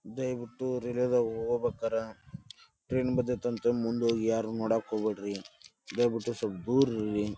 ದಯವಿಟ್ಟು ರೈಲ್ವೆ ದಾಗ ಹೋಗುಬೇಕಾರ ಟ್ರೈನ್ ಬಂದೈತಂತ ಮುಂದ್ ಹೋಗಿ ಯಾರನ್ನು ನೋಡಾಕ್ ಹೊಗ್ಬ್ಯಾಡ್ರಿ ದಯವಿಟ್ಟು ಸಲ್ಪ ದೂರ್ ಇರ್ರಿ. .